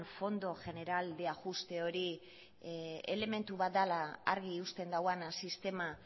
fondo general de ajuste hori elementu bat dela argi uzten duena sistema